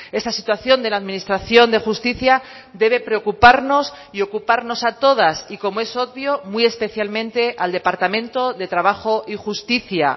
esta situación de la administración de justicia debe preocuparnos y ocuparnos a todas y como es obvio muy especialmente al departamento de trabajo y justicia